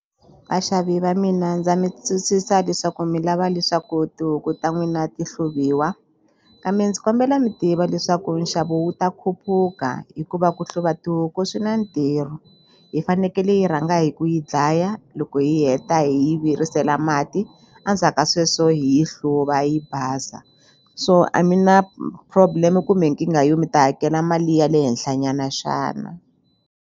Vaxavi va mina ndza mi twisisa leswaku mi lava leswaku tihuku ta n'wina ti hluvuwa kambe ndzi kombela mi tiva leswaku nxavo wu ta khupuka hikuva ku hluva tihuku swi na ntirho hi fanekele hi rhanga hi ku yi dlaya loko hi heta hi yi virisela mati a ndzhaka sweswo hi yi hluva yi basa so a mi na problem kumbe nkingha yo mi ta hakela mali ya le henhla nyana xana.